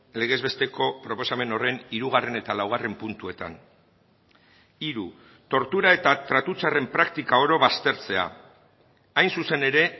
legez besteko proposamen horren hirugarren eta laugarren puntuetan hiru tortura eta tratu txarren praktika oro baztertzea hain zuzen ere